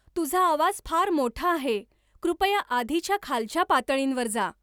तुझा आवाज फार मोठा आहे कृपया आधीच्या खालच्या पातळींवर जा